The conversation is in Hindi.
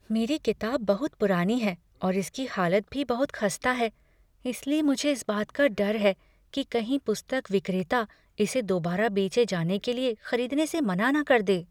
मेरी किताब बहुत पुरानी है और इसकी हालत भी बहुत खस्ता है इसलिए मुझे इस बात का डर है कि कहीं पुस्तक विक्रेता इसे दोबारा बेचे जाने के लिए खरीदने से मना न कर दे।